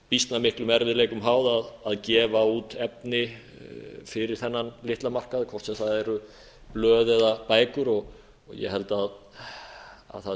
býsna miklum erfiðleikum háð að gefa út efni fyrir þennan litla markað hvort sem það eru blöð eða bækur ég held að það sé ekki